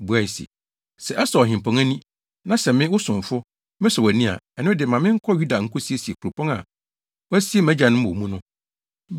buae se, “Sɛ ɛsɔ Ɔhempɔn ani, na sɛ me, wo somfo, mesɔ wʼani a, ɛno de ma menkɔ Yuda nkosiesie kuropɔn a wɔasie mʼagyanom wɔ mu no.”